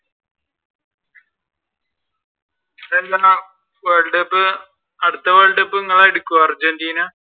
world cup അടുത്ത world cup നിങ്ങളായിർക്കൊ Argentina?